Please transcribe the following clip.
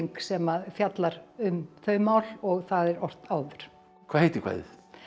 sem fjallar um þau mál og það er ort áður hvað heitir kvæðið